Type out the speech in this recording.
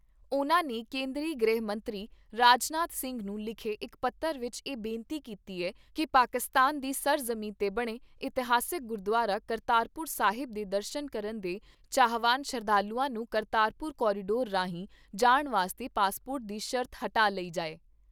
ਉਨ੍ਹਾਂ ਨੇ ਕੇਂਦਰੀ ਗ੍ਰਹਿ ਮੰਤਰੀ ਰਾਜਨਾਥ ਸਿੰਘ ਨੂੰ ਲਿਖੇ ਇਕ ਪੱਤਰ ਵਿਚ ਇਹ ਬੇਨਤੀ ਕੀਤੀ ਏ ਕਿ ਪਾਕਿਸਤਾਨ ਦੀ ਸਰ ਜ਼ਮੀਂ 'ਤੇ ਬਣੇ ਇਸਿਹਾਸਕ ਗੁਰਦੁਆਰਾ ਕਰਤਾਰਪੁਰ ਸਾਹਿਬ ਦੇ ਦਰਸ਼ਨ ਕਰਨ ਦੇ ਚਾਹਵਾਨ ਸ਼ਰਧਾਲੂਆਂ ਨੂੰ ਕਰਤਾਰਪੁਰ ਕਾਰੀਡੋਰ ਰਾਹੀਂ ਜਾਣ ਵਾਸਤੇ ਪਾਸਪੋਰਟ ਦੀ ਸ਼ਰਤ ਹਟਾ ਲਈ ਜਾਏ।